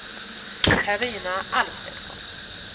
Carina Alfredsson